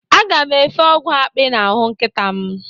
Aga m efe ọgwụ akpị n'ahụ nkịta m.